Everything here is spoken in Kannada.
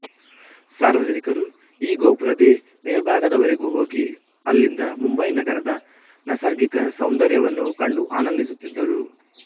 ಸಾರ್ವಜನಿಕರು ಈ ಗೋಪುರದೆ ಮೇಲ್ಭಾಗದ ವರೆವಿಗೂ ಹೋಗಿ ಅಲ್ಲಿಂದ ಮುಂಬಯಿ ನಗರದ ನಸರ್ಗಿಕ ಸೌಂದರ್ಯವನ್ನು ಕಂಡು ಆನಂದಿಸುತ್ತಿದ್ದರು